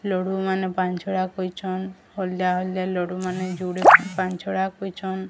ଲଡୁ ମାନେ ପାଞ୍ଚ ଛ ଟା କହିଚନ ହଳଦିଆ ହଳଦିଆ ଲଡୁ ମାନେ ଯୁଡେ ପାଞ୍ଚ ଛ ଟା କହିଚନ୍।